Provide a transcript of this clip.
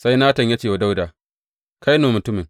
Sai Natan ya ce wa Dawuda, Kai ne mutumin!